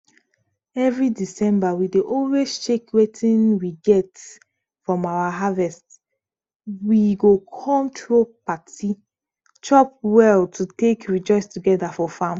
every december we dey always check wetin we get from our harvest we go come throw party chop well to take rejoice togeda for farm